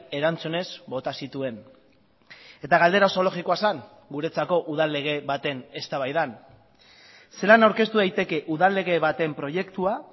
erantzunez bota zituen eta galdera oso logikoa zen guretzako udal lege baten eztabaidan zelan aurkeztu daiteke udal lege baten proiektua